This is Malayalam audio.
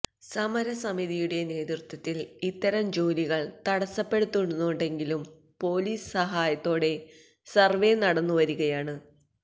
സമരസമിതിയുടെ നേതൃത്വത്തില് ഇത്തരം ജോലികള് തടസ്സപ്പെടുത്തുന്നുണ്ടെങ്കിലും പോലിസ് സഹായത്തോടെ സര്വ്വേ നടന്നു വരികയാണ്